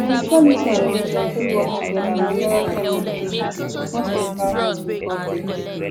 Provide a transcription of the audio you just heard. spirituality and religion fit work together with therapy and medication to support mental health recovery